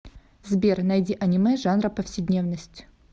сбер найди анимэ жанра повседневность